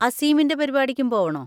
അസീമിൻ്റെ പരിപാടിക്കും പോവണോ?